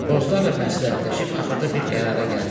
Bozlarla məsləhətləşib axırda bir qərara gəldilər.